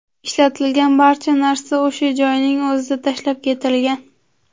Ishlatilgan barcha narsa o‘sha joyning o‘zida tashlab ketilgan.